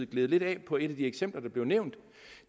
gled lidt af på et af de eksempler der blev nævnt